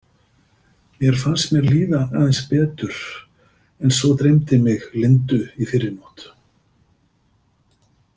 Mér fannst mér líða aðeins betur en svo dreymdi mig Lindu í fyrrinótt.